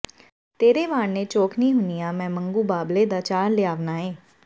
ਤੇਰੇ ਵਾਰਨੇ ਚੋਖਨੇ ਹੁੰਨੀਆਂ ਮੈਂ ਮੰਗੂ ਬਾਬਲੇ ਦਾ ਚਾਰ ਲਿਆਵਨਾ ਏਂ